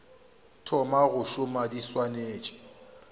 thoma go šoma di swanetše